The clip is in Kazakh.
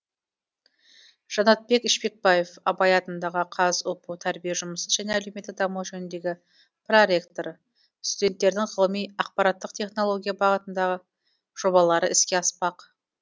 жанатбек ішпекбаев абай атындағы қазұпу тәрбие жұмысы және әлеуметтік даму жөніндегі проректоры студенттердің ғылыми ақпараттық технология бағытындағы жобалары іске аспақ